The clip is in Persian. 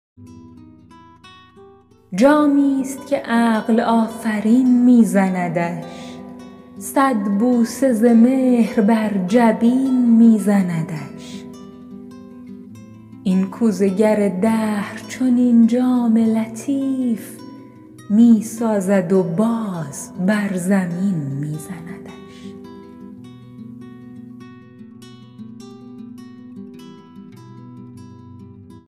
جامی است که عقل آفرین می زندش صد بوسه ز مهر بر جبین می زندش این کوزه گر دهر چنین جام لطیف می سازد و باز بر زمین می زندش